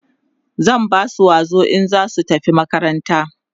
zan Basu wazo in zasu tafi makaranta